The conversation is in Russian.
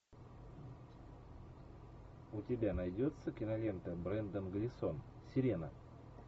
у тебя найдется кинолента брендан глисон сирена